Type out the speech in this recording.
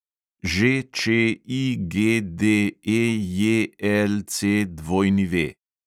ŽČIGDEJLCW